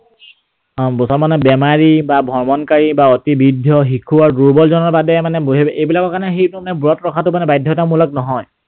অ মুছলমান বেমাৰী বা ভ্ৰমণকাৰী, বৃদ্ধ, শিশু আৰু দুৰ্বল জনৰ বাদে মানে, এইবিলাকৰ কাৰণে হেৰিটো মানে ব্ৰত ৰখাটো মানে বাধ্যতা মূলক নহয়।